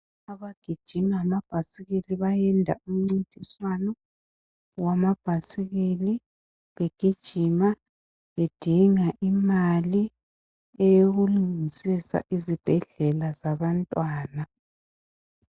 Abagijima lama ibhayisikili bayenza umncindiswano wamabhayisikili begijima bedinga imali eyokulungisisa izibhedlela zabantwana .